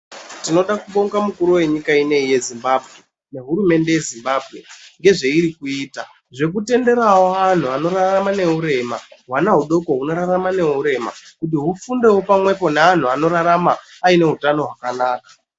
Tinoda kubonga mukuru venyika ino yeZimbabwe nehurumende inoyi yeZimbabwe ngezveiri kuita ,ngekutenderavo vantu vanorarama ngeurema vana vadoko vanorarama neurema nekufundavo pamwepo neantu anorarama aine utano hwakanaka.